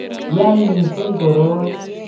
ya mising koroi